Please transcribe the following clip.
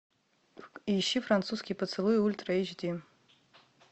ищи французский поцелуй ультра эйч ди